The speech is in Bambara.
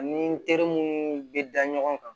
Ani n teri munnu be da ɲɔgɔn kan